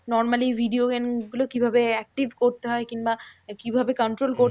Normaly video game গুলো কিভাবে active করতে হয়? কিংবা কিভাবে control করতে হয়?